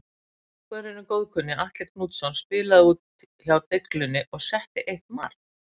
Markvörðurinn góðkunni Atli Knútsson spilaði úti hjá Deiglunni og setti eitt mark.